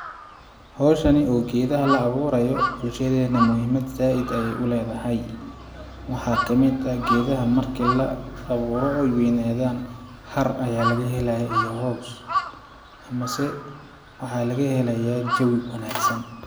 Hawshani oo geedaha la awuurayo bulashadeena muhiimad zaaid ayeey u leedahay ,waxaa kamid ah geedaha marki la awuuro ooy weynadaan har ayaa laga helayaa iyo hoos ,mase waxaa laga helayaa jawi wanaagsan .